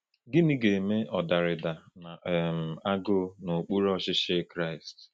Gịnị ga-eme ọdarida na um agụụ n’okpuru ọchịchị Kraịst?